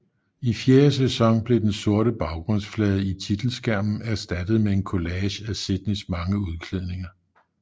I fjerde sæson blev den sorte baggrundsflade i titelskærmen erstattet med en kollage af Sydneys mange udklædninger